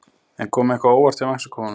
En kom eitthvað á óvart hjá Mexíkóunum?